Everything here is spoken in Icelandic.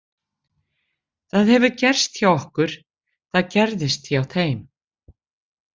Það hefur gerst hjá okkur, það gerðist hjá þeim.